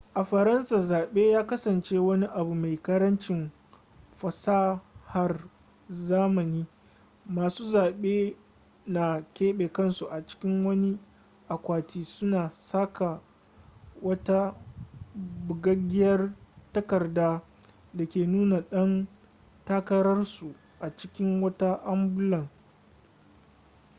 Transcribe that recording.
a faransa zaɓe ya kasanace wani abu mai ƙarancin fasahar zamani masu zaɓe na keɓe kansu a cikin wani akwati suna saka wata bugaggiyar takarda da ke nuna ɗan takararsu a cikin wata ambulan